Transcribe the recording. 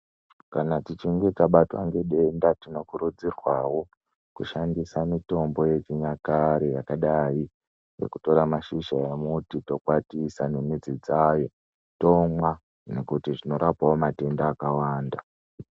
Kana tichinge tabatwa nedenda tinokurudzirwawo kushandisa mitombo yechinyakare yakadai nekutora mashizha emuti tokwatisa nemudzi dzayo tomwa nekuti zvinorapawo matenda akawanda.